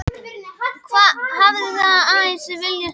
Hafið það eins og þið viljið sagði hann.